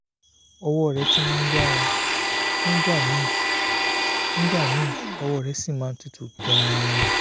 ọwọ́ rẹ̀ ti ń yára nígbà míì nígbà míì ọwọ́ rẹ̀ sì máa ń tutù gan-an